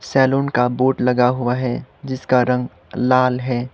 Salon का board लगा हुआ है जिसका रंग लाल है।